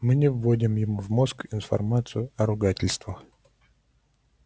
мы не вводим ему в мозг информацию о ругательствах